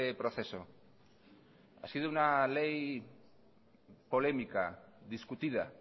proceso ha sido una ley polémica discutida